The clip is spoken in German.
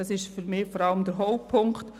Das ist für mich der Hauptpunkt.